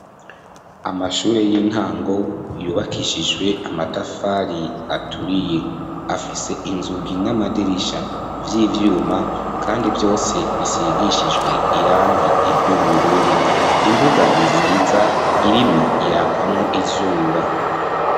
Amashure y'intango, yubakishijwe amatafari aturiye, afise inzugi n'amadirisha, vy'ibyuma, kandi vyose bisigishijwe irangi ry'ubururu; imbuga nziza, irimwo, irakwamwo izuba.